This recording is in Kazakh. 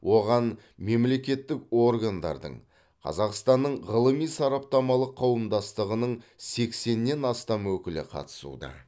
оған мемлекеттік органдардың қазақстанның ғылыми сараптамалық қауымдастығының сексеннен астам өкілі қатысуда